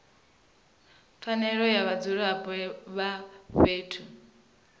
pfanelo dza vhadzulapo vha fhethu